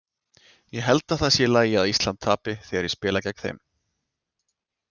Ég held að það sé í lagi að Ísland tapi þegar ég spila gegn þeim.